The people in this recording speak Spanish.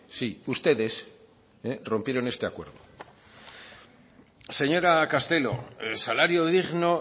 sí ustedes rompieron este acuerdo señora castelo el salario digno